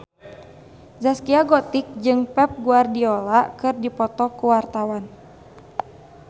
Zaskia Gotik jeung Pep Guardiola keur dipoto ku wartawan